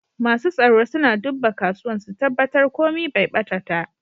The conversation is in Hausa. Masu tsaro suna dubba kasuwan, su tabatar komi Bai bata ta.